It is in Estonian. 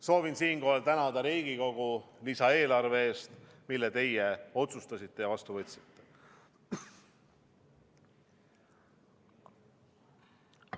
Soovin siinkohal tänada Riigikogu lisaeelarve eest, mille teie otsustasite ja vastu võtsite.